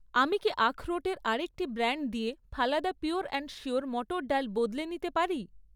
আমি কি আখরোটের আরেকটি ব্র্যান্ড দিয়ে ফালাদা পিওর অ্যান্ড শিওর মটর ডাল বদলে নিতে পারি?